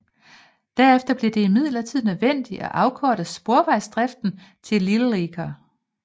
Derefter blev det imidlertid nødvendigt at afkorte sporvejsdriften til Lilleaker